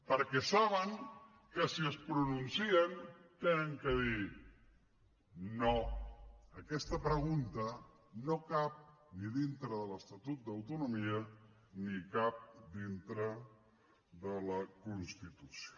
perquè saben que si es pronuncien han de dir no aquesta pregunta no cap dintre de l’estatut d’autonomia ni cap dintre de la constitució